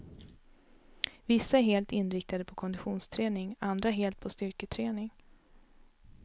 Vissa är helt inriktade på konditionsträning, andra helt på styrketräning.